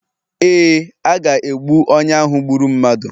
Ee, a ga-egbu onye ahụ gburu mmadụ